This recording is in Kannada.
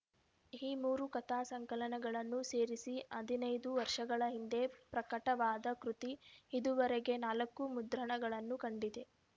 ಈ ಮೂರು ಕಥಾ ಸಂಕಲನಗಳನ್ನು ಸೇರಿಸಿ ಹದಿನೈದು ವರ್ಷಗಳ ಹಿಂದೆ ಪ್ರಕಟವಾದ ಕೃತಿ ಇದುವರೆಗೆ ನಾಲ್ಕು ಮುದ್ರಣಗಳನ್ನು ಕಂಡಿದೆ